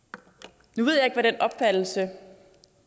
nu ved jeg ikke hvad den opfattelse